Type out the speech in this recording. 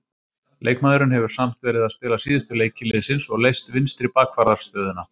Leikmaðurinn hefur samt verið að spila síðustu leiki liðsins og leyst vinstri bakvarðarstöðuna.